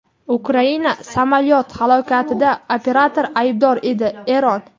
Ukraina samolyoti halokatida operator aybdor edi – Eron.